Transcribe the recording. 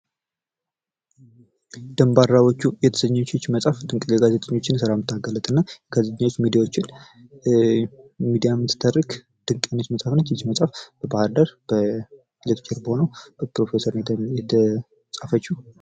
ደባራዎቹ የተሰኘች ይች መፅሐፍ ጋዜጠኞችን የምታጋልጥ እና ጋዜጠኞችን ሚዲያዎችን ሚድያም ስታደርግ ድንቅ መፅሐፍ ነች። ይች መፅሐፍ በባህር ዳር ሌክቸር በሆነው በፕሮፌሰር ነው የተፃፈችው።